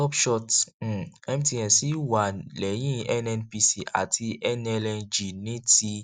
upshots um mtn ṣì wà lẹyìn nnpc àti nlng ní ti